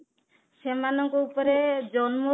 ସେମାନଙ୍କ ଉପରେ ଜନ୍ମ